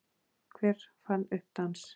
Hver fann upp dans?